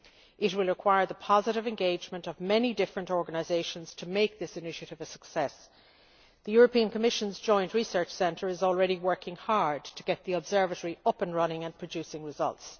It will require the positive engagement of many different organisations to make this initiative a success. The Commission's Joint Research Centre is already working hard to get the observatory up and running and producing results.